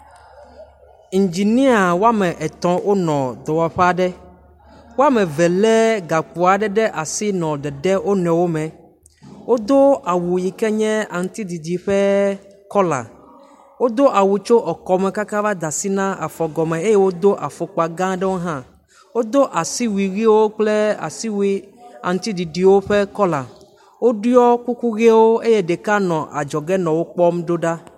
Ingenia wɔme etɔ̃ wonɔ dɔwɔƒe aɖe. Wɔme eve le gakpo aɖe ɖe asi nɔ dedem wo nɔewo me. wodo awu yi ke nye aŋtsiɖiɖi ƒe kɔla. Wodoa wu tso ekɔme kaka va de asi na afɔgɔme eye wodo afɔkpa gã aɖewo hã. Wodo asiwui ʋiwo kple asiwui aŋtsiɖiɖiwo ƒe kɔla. Woɖo kuku ʋiwo eye ɖeka nɔ adzɔge nɔ wo kpɔm do ɖa.